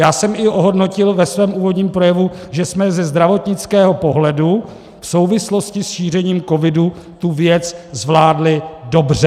Já jsem i ohodnotil ve svém úvodním projevu, že jsme ze zdravotnického pohledu v souvislosti s šířením covidu tu věc zvládli dobře.